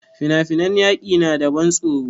Fina-finan yaƙi na da ban tsoro.